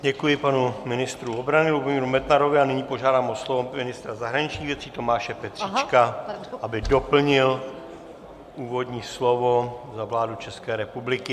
Děkuji panu ministru obrany Lubomíru Metnarovi a nyní požádám o slovo ministra zahraničních věcí Tomáše Petříčka, aby doplnil úvodní slovo za vládu České republiky.